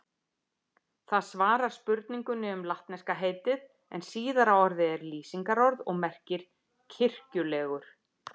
Það svarar spurningunni um latneska heitið en síðara orðið er lýsingarorð og merkir kirkjulegur.